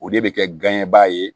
O de bɛ kɛ ganɲɛbaa ye